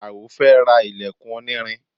Alao fẹ́ ra ilẹkun onírin